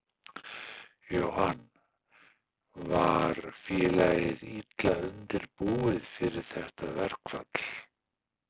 Jóhann: Var félagið illa undirbúið fyrir þetta verkfall?